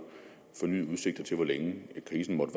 fornyede udsigter til hvor længe krisen måtte